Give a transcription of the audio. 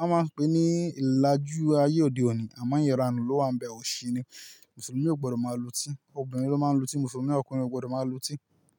a máa ń pè é ní ìlàjú ayé òde òní, àmọ́ iranu ló wà níbe, òsì ni. Mùsùlùmí ò gbọdọ̀ máa lutí, obìnrin ló máa ń lutí, Mùsùlùmí ọkùnrin ò gbọdọ̀ máa lutí.